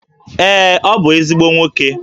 Ee, ọ bụ ezigbo nwoke